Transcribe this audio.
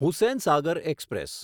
Hussain Sagar express